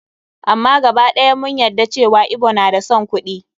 Amma gaba ɗaya mun yadda cewa Igbo na da son kuɗi.